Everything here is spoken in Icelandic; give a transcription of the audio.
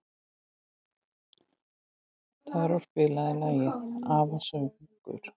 Tarón, spilaðu lagið „Afasöngur“.